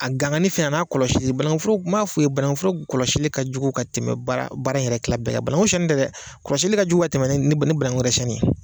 A gangani fɛnɛ a n'a kɔlɔsili banankuforo n b'a fɔ i ye banankuforo kɔlɔsili ka jugu ka tɛmɛ baara yɛrɛ tila bɛɛ kan bananku siɲɛni tɛ dɛ kɔlɔsili ka jugu ka tɛmɛ ni ni bananku yɛrɛ siɲɛni ye